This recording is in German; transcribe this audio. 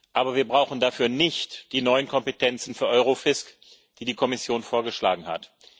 Aber wir brauchen dafür nicht die neuen Kompetenzen für Eurofisc, die die Kommission vorgeschlagen hat.